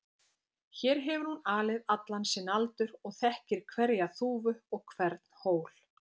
Hér hefur hún alið allan sinn aldur og þekkir hverja þúfu og hvern hól.